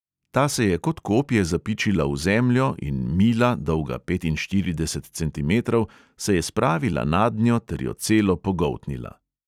Ta se je kot kopje zapičila v zemljo in mila, dolga petinštirideset centimetrov, se je spravila nadnjo ter jo celo pogoltnila.